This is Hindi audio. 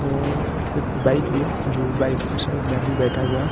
और एक बाइक भी है जो बाइक के साइड में आदमी बैठा हुआ है।